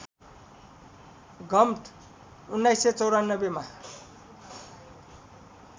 Gump १९९४ मा